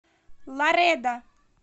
ларедо